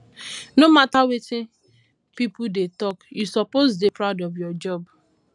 no matter wetin pipo dey talk you suppose dey proud of your job